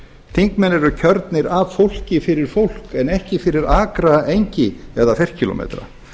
þingmenn eru kjörnir af fólki fyrir fólk en ekki fyrir akra engi eða ferkílómetra